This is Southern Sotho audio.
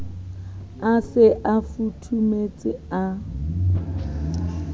a se a futhumetse a